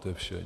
To je vše.